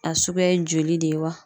A suguya ye joli de ye wa